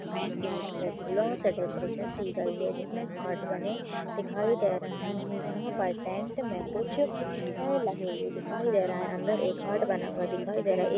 main gate पे फूलों से डेकोरेशन की गई है जिसमें हार्ट बने दिखाई दे रहे हैं यहां पर टेंट में कुछ ए लगे हुए दिखाई दे रहा है अंदर एक हार्ट बना हुआ दिखाई दे रहा ए--